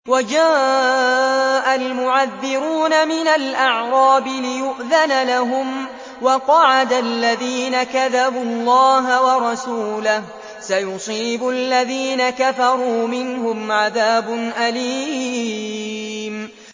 وَجَاءَ الْمُعَذِّرُونَ مِنَ الْأَعْرَابِ لِيُؤْذَنَ لَهُمْ وَقَعَدَ الَّذِينَ كَذَبُوا اللَّهَ وَرَسُولَهُ ۚ سَيُصِيبُ الَّذِينَ كَفَرُوا مِنْهُمْ عَذَابٌ أَلِيمٌ